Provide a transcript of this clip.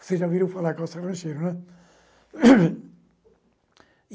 Vocês já ouviram falar calça rancheiro, né?